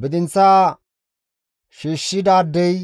Bidinththaa shiishshidaadey